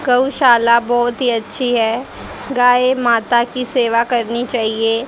गौशाला बहोत ही अच्छी है गाय माता की सेवा करनी चाइए ।